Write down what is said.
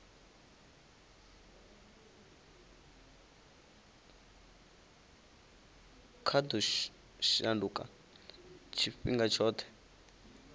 kwa ḓo shanduka tshifhinga tshoṱhe